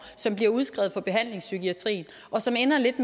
som bliver udskrevet fra behandlingspsykiatrien og som ender lidt